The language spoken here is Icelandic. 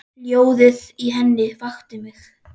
Hljóðið í henni vakti mig.